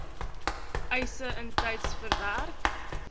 eise intyds verwerk